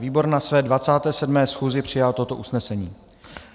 Výbor na své 27. schůzi přijal toto usnesení: